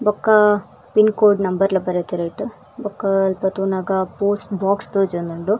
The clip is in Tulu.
ಬೊಕ್ಕ ಪಿನ್ಚೋಡ್ ನಂಬರ್ಲ ಬರೆತೆರ್ ಐಟ್ ಬೊಕ್ಕ ಅಲ್ಪ ತೂನಗ ಪೋಸ್ಟ್ ಬೋಕ್ಸ್ ತೋಜೊಂದುಂಡು.